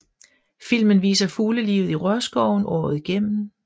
Filmen viser fuglelivet i rørskoven året igennem